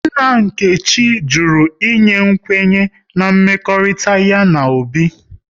Nna Nkechi jụrụ ịnye kwenye na mmekọrịta ya na Obi